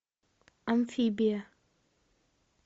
амфибия